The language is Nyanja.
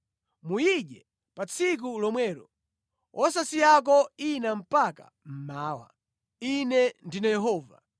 Muyidye pa tsiku lomwelo, wosasiyako ina mpaka mmawa. Ine ndine Yehova.